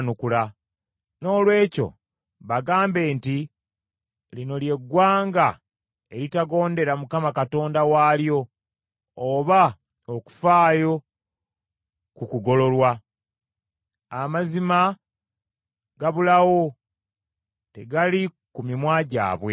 Noolwekyo bagambe nti, ‘Lino ly’eggwanga eritagondera Mukama Katonda waalyo oba okufaayo ku kugololwa. Amazima gabulawo, tegali ku mimwa gyabwe.